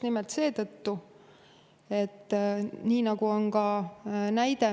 Meil on selle kohta tuua Läänemaa näide.